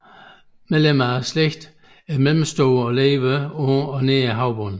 Medlemmer af slægten er mellemstore og lever på og nær havbunden